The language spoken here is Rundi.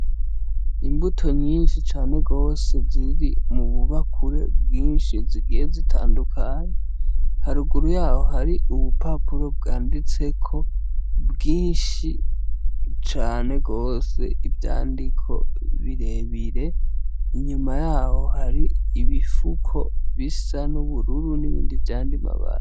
Imbuto nyinshi cane gose ziri mu bubakure bwinshi zigiye zitandukanye, haruguru yaho hari ubupapuro bwanditseko bwinshi cane gose ivyandiko birebire, inyuma yaho hari ibifuko bisa n'ubururu, n'ibindi vy'ayandi mabara.